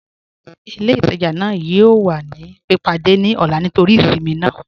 Ilẹ̀-itajà naa yọọ̀ wà ni pípádẹ̀ ni ọlá nítorí ìṣinmí naa.